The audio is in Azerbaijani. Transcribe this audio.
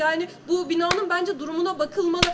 Yəni bu binanın bəncə durumuna baxılmalı.